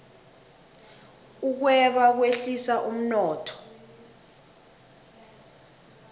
ukweba kwehlisa umnotho